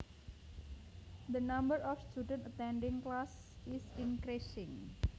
The number of students attending class is increasing